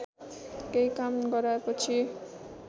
केही काम गराएपछि